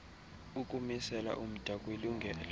ukumisela umda kwilungelo